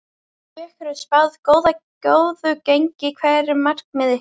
Ykkur er spáð góðu gengi, hver eru markmið ykkar?